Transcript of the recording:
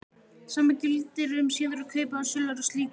Sama gildir um síðari kaup eða sölur á slíkum bréfum.